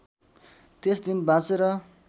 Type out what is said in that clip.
त्यस दिन बाँचेर